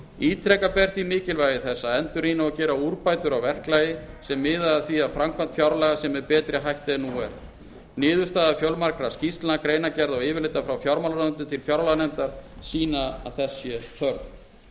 ítreka ber því mikilvægi þess að endurrýna og gera úrbætur á verklagi sem miða að því að framkvæmd fjárlaga sé með betri hætti en nú er niðurstaða fjölmargra skýrslna greinargerða og yfirlita frá fjármálaráðuneytinu til fjárlaganefndar sýna að þess